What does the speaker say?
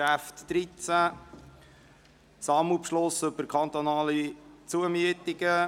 Es geht um den Sammelbeschluss betreffend kantonale Zumieten.